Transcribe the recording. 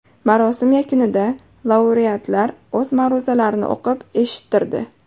Marosim yakunida laureatlar o‘z ma’ruzalarini o‘qib eshittirdi.